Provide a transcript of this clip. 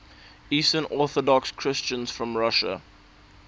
eastern orthodox christians from russia